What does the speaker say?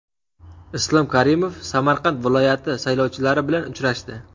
Islom Karimov Samarqand viloyati saylovchilari bilan uchrashdi.